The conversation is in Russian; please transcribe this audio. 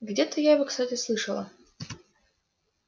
где-то я его кстати слышала